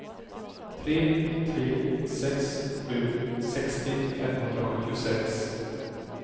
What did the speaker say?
tre tre sex sju sextio femhundrasjuttiosex